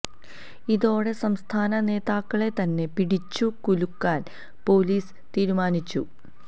ഇതോടെ സംസ്ഥാന നേതാക്കളെ തന്നെ പിടിച്ചു കുലുക്കാൻ പൊലീസ് തീരുമാനിച്ചു